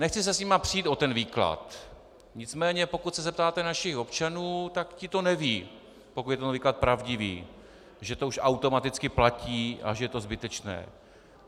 Nechci se s nimi přít o ten výklad, nicméně pokud se zeptáte našich občanů, tak ti to nevědí, pokud je ten výklad pravdivý, že to už automaticky platí a že je to zbytečné.